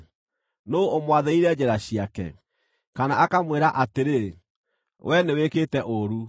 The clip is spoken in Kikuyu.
Nũũ ũmwathĩrĩire njĩra ciake, kana akamwĩra atĩrĩ, ‘Wee nĩwĩkĩte ũũru’?